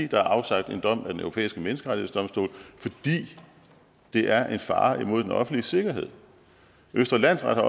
der er afsagt en dom af den europæiske menneskerettighedsdomstol fordi det er en fare imod den offentlige sikkerhed østre landsret